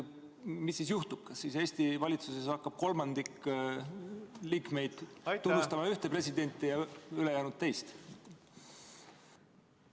Mis siis juhtub, kas Eesti valitsuses hakkab kolmandik liikmeid tunnistama ühte presidenti ja ülejäänud teist?